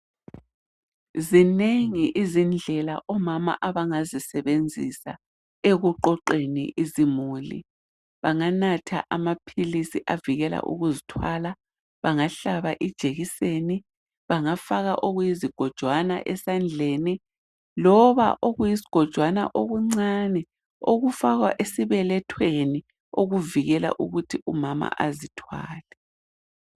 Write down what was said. Zinengi izindlela omama abangazisebenzisa ekuqoqeni imuli, banganatha amaphilisi avikela ukuzithwala, bangahlaba ijekiseni, bangafaka okuyizigojwana esandleni, loba okuyisigojwana okuncane okufakwa esibelethweni okuvikela ukuthi umama angazithwali.